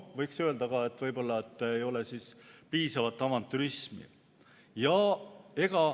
Võiks öelda ka, et võib-olla ei ole piisavalt avantürismi.